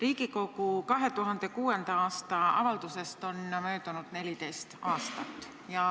Riigikogu 2006. aasta avaldusest on möödunud 14 aastat.